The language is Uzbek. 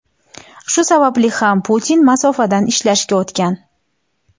Shu sababli ham Putin masofadan ishlashga o‘tgan.